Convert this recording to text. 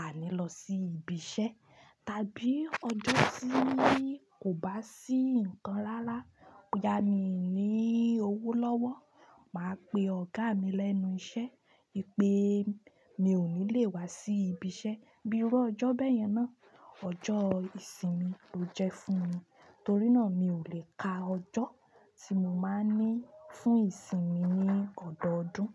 a ní lọ sí ibi iṣẹ́, tàbí ọjọ́ tí kò bá sí nǹkan rárá, ọ̀yà mí ní owó lọ́wọ́, màá pe ọ̀gá mi lẹ́nu iṣẹ́ pé mi ò ní lè wá sí ibi iṣẹ́, bíi irú ọjọ́ bẹ́ẹ̀ yẹn náà, ọjọ́ ìsinmi ló jẹ́ fún mi. Torí náà mi ò lè ka ọjọ́ tí mo máa ní fún ìsinmi ní ọdọọdún.